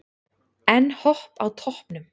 Enn Hopp á toppnum